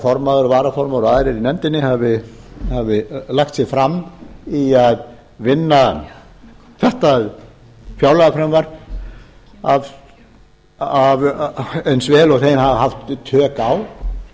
formaður varaformaður og aðrir í nefndinni hafi lagt sig fram í að vinna þetta fjárlagafrumvarp eins vel og þeir hafa haft tök á